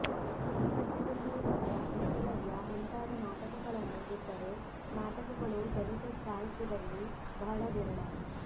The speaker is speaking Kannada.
ಸಿದ್ಧಲಿಂಗಯ್ಯನವರ ಏಕಲವ್ಯ ಮುಂತಾದ ನಾಟಕಗಳನ್ನು ಬಿಟ್ಟರೆ ನಾಟಕಗಳು ದಲಿತ ಸಾಹಿತ್ಯದಲ್ಲಿ ಬಹಳ ವಿರಳ